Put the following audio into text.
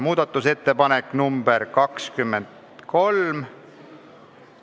Muudatusettepanek nr 23 ...